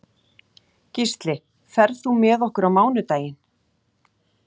Gísli, ferð þú með okkur á mánudaginn?